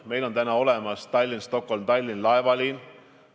Meil aga on olemas laevaliin Tallinn–Stockholm–Tallinn.